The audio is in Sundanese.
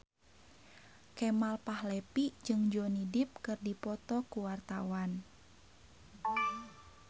Kemal Palevi jeung Johnny Depp keur dipoto ku wartawan